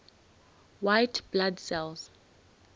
white blood cells